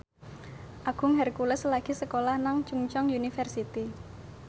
Agung Hercules lagi sekolah nang Chungceong University